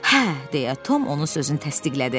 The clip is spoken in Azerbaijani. "Hə," deyə Tom onun sözünü təsdiqlədi.